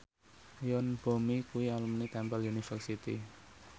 Yoon Bomi kuwi alumni Temple University